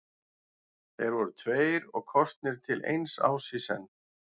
Þeir voru tveir og kosnir til eins árs í senn.